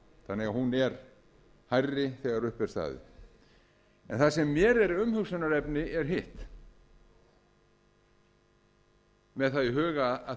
þannig að hún er hærri þegar upp er staðið það sem mér er umhugsunarefni er hitt með það í huga að